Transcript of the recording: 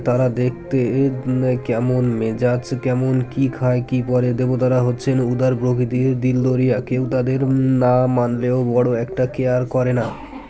তারা দেখতে এম কেমন মেজাজ কেমন কী খায় কী পরে দেবতারা হচ্ছেন উদার প্রকৃতির দিল দরিয়া কেউ তাদের না মানলেও বড়ো একটা care করেনা